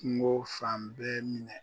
Kungo fan bɛ minɛ